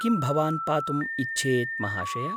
किं भवान् पातुम् इच्छेत् महाशय?